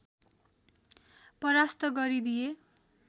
परास्त गरिदिए